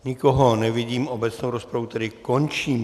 Nikoho nevidím, obecnou rozpravu tedy končím.